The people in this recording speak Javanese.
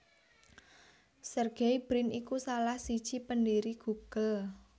Sergey Brin iku salah siji pendhiri Google